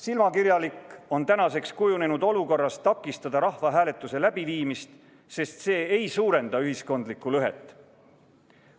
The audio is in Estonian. Silmakirjalik on tänaseks kujunenud olukorras takistada rahvahääletuse läbiviimist, sest see hääletus ei suurenda ühiskondlikku lõhet.